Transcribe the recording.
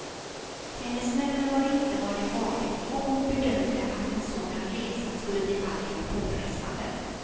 Hennes nerver var inte vad de varit och hon bedömde att en sådan resa skulle bli alltför påfrestande.